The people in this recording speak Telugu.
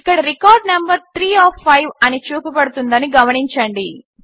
ఇక్కడ రికార్డ్ నంబరు 3 ఒఎఫ్ 5 అని చూపబడుతుందని గమనించండి